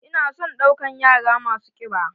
Ina son ɗaukan yara masu kiɓa.